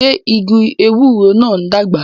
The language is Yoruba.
Ṣé igi ewúro náà ń dàgbà?